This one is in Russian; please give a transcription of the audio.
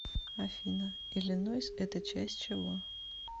афина иллинойс это часть чего